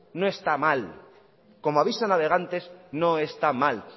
no está mal como aviso a navegantes no está mal